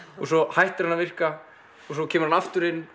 svo hættir hann að virka svo kemur hann aftur inn